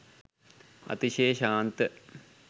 අතිශය ශාන්ත